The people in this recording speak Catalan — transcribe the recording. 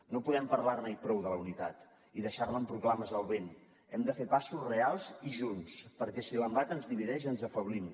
no podem parlar ne i prou de la unitat i deixar la amb proclames al vent hem de fer passos reals i junts perquè si l’embat ens divideix ens afeblim